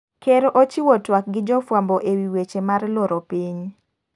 Ker ochiwo tuak gi jofwambo ewi wech mar loro piny.